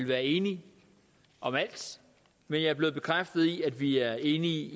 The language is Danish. være enige om alt men jeg er blevet bekræftet i at vi er enige